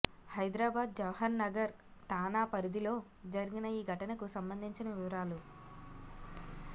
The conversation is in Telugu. హైదరాబాద్ జవహర్ నగర్ ఠాణా పరిధిలో జరిగిన ఈ ఘటనకు సంబంధించిన వివరాలు